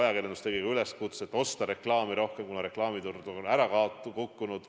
Ajakirjandus tegi üleskutse osta reklaami rohkem, kuna reklaamiturg on ära kukkunud.